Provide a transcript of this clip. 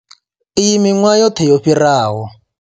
Iyi miṅwahani yoṱhe yo fhiraho.